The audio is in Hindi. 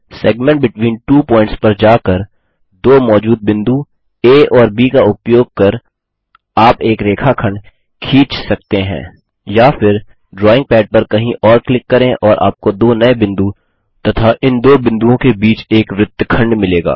सेगमेंट बेटवीन त्वो पॉइंट्स पर जाकर दो मौजूद बिंदु आ और ब का उपयोग कर आप एक रेखाखंड खींच सकते हैं या फिर ड्राइंग पैड पर कहीं और क्लिक करें और आपको दो नए बिंदु तथा इन दो बिंदुओं के बीच एक वृत्तखंड मिलेगा